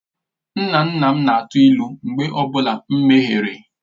Nna nna m na-atụ ilu mgbe ọ bụla m mehiere.